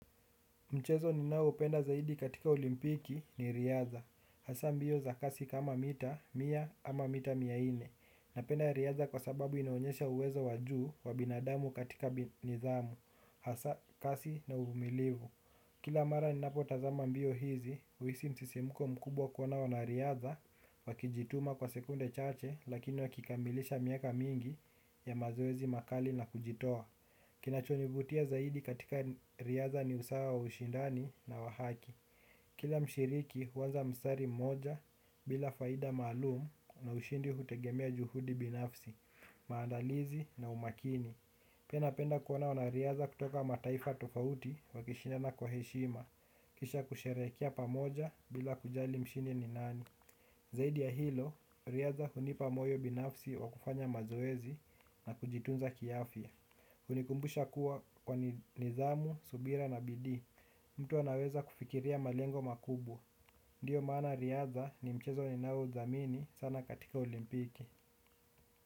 Mchezo ninaoupenda zaidi katika olimpiki ni riadha. Hasa mbio za kasi kama mita, mia ama mita mia nne. Napenda riadha kwa sababu inaonyesha uwezo wa juu wa binadamu katika nidhamu. Hasa kasi na uvumilivu. Kila mara ninapotazama mbio hizi, huisi msisimko mkubwa kuona wanariadha, wakijituma kwa sekunde chache lakini wakikamilisha miaka mingi ya mazoezi makali na kujitoa. Kinachonivutia zaidi katika riadha ni usawa wa ushindani na wa haki. Kila mshiriki huanza mstari mmoja bila faida maalumu na ushindi hutegemea juhudi binafsi, maandalizi na umakini. Pia napenda kuona wanariadha kutoka mataifa tofauti wakishinda na kwa heshima. Kisha kusherekea pamoja bila kujali mshindi ni nani. Zaidi ya hilo riadha hunipa moyo binafsi wa kufanya mazoezi na kujitunza kiafya hunikumbusha kuwa kwa nidhamu, subira na bidii mtu anaweza kufikiria malengo makubwa. Ndiyo maana riadha ni mchezo ninaothamini sana katika olimpiki.